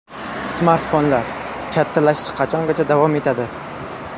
Smartfonlar: kattalashish qachongacha davom etadi?.